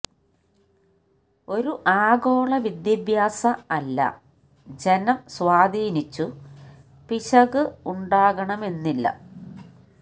ഒരു ആഗോള വിദ്യാഭ്യാസ അല്ല ജനം സ്വാധീനിച്ചു പിശകു് ഉണ്ടാകണമെന്നില്ല